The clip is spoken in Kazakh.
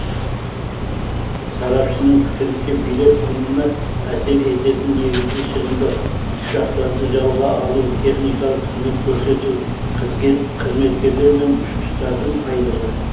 сарапшының пікірінше билет құнына әсер ететін негізгі шығындар ұшақтарды жалға алу техникалық қызмет көрсету қызметкерлер мен ұшқыштардың айлығы